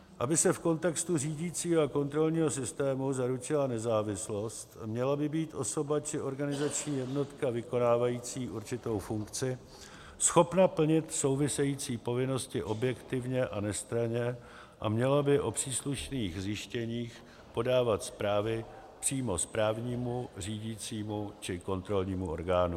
Aby se v kontextu řídícího a kontrolního systému zaručila nezávislost, měla by být osoba či organizační jednotka vykonávající určitou funkci schopna plnit související povinnosti objektivně a nestranně a měla by o příslušných zjištěních podávat zprávy přímo správnímu, řídícímu či kontrolnímu orgánu.